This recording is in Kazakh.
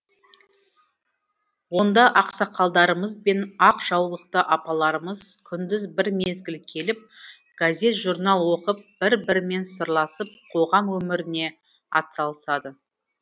онда ақсақалдарымыз бен ақ жаулықты апаларымыз күндіз бір мезгіл келіп газет журнал оқып бір бірімен сырласып қоғам өміріне атсалысады